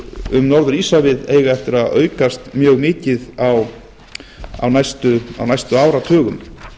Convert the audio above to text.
um norður íshafið eiga eftir að aukast mjög mikið á næstu áratugum